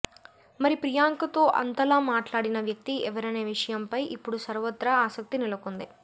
మరి ప్రియాంక తో అంతలా మాట్లాడిన వ్యక్తి ఎవరనే విషయం పై ఇప్పుడు సర్వత్రా ఆసక్తి నెలకొంది